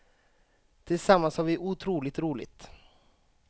Tillsammans har vi otroligt roligt.